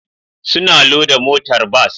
Suna loda motar bas